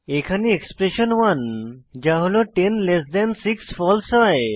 এখানে এক্সপ্রেশণ 1 যা হল 10 6 ফালসে হয়